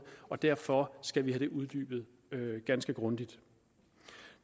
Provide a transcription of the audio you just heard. og derfor skal vi have det uddybet ganske grundigt